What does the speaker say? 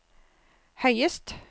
høyest